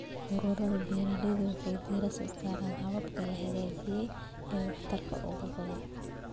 Ururada beeralayda waxay diiradda saaraan hababka la xaqiijiyay ee waxtarka ugu badan.